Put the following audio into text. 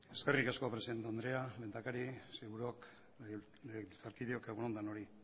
eskerrik asko presidente andrea lehendakari sailburuok legebiltzarkideok egun on denoi